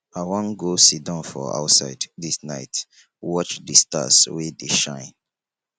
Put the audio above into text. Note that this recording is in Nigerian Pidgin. i wan go siddon for outside dis night watch di stars wey dey shine